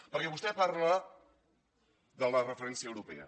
perquè vostè parla de la referència europea